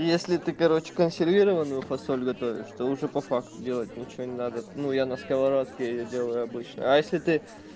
если ты короче консервированную фасоль готовишь то что уже по факту делать ничего не надо ну я на сковородке её делаю обычно а если ты